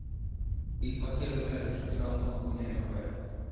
Gik ma kelo pilomatrixoma ok ong'ere maber.